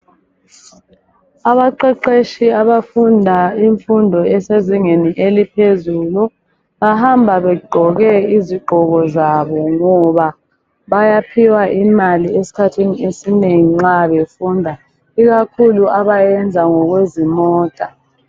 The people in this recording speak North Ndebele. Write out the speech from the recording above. Abaqeqetshi abafunda imfundo ezisezingeni eliphezulu, bahamba begqoke izigqoko zabo ngoba bayaphiwa imali esikhathini esinengi nxa befunda. Ikakhulu abayenza ngokwezimota.